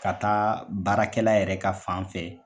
Ka taa baarakɛla yɛrɛ ka fan fɛ.